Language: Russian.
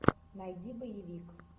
найди боевик